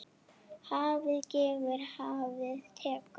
Hafið gefur, hafið tekur.